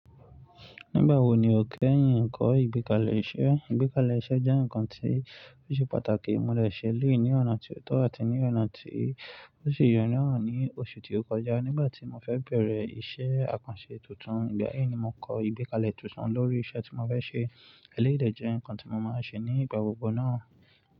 Nígbà wo ni o kẹ́yìn kọ́ ìgbékalẹ̀ iṣẹ́? Ìgbékalẹ̀ iṣẹ́ jẹ́ nǹkan tí ó ṣe pàtàkì. Mo dè se eleyi ní ọ̀nà tí ó tọ́ àti ní ọ̀nà tí ó sì ye nàa ní oṣù tí ó kọjá nígbà tí mo fẹ bẹ̀rẹ̀ iṣẹ́ àkànṣe tuntun. Ìgbà yẹn ni mo kọ ìgbékalẹ̀ ìtúsan lórí iṣẹ́ tí mo fẹ ṣe. Ẹ̀lẹ́yi dẹ̀ jẹ́ nǹkan tí mo máa n ṣe ní ìgbà gbogbo náà.